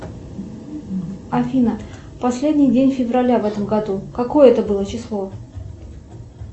афина последний день февраля в этом году какое это было число